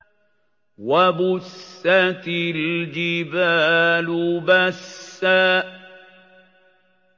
وَبُسَّتِ الْجِبَالُ بَسًّا